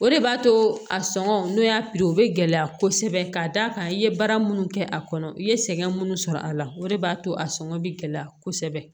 O de b'a to a sɔngɔ n'o y'a o bɛ gɛlɛya kosɛbɛ ka d'a kan i ye baara minnu kɛ a kɔnɔ i ye sɛgɛn minnu sɔrɔ a la o de b'a to a sɔngɔ bi gɛlɛya kosɛbɛ